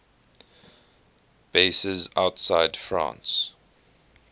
bases outside france